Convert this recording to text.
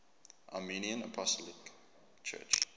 armenian apostolic church